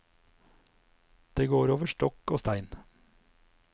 Det går over stokk og stein.